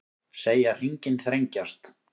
Segja hringinn þrengjast